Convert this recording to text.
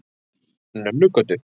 Nönnugötu